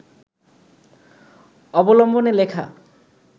অবলম্বনে লেখা